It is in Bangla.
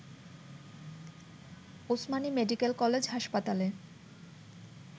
ওসমানী মেডিকেল কলেজ হাসপাতালে